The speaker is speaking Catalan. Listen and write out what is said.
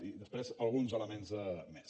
i després alguns elements més